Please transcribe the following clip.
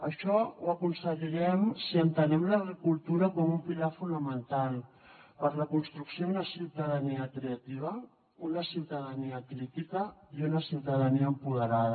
això ho aconseguirem si entenem la cultura com un pilar fonamental per la construcció d’una ciutadania creativa una ciutadania crítica i una ciutadania empoderada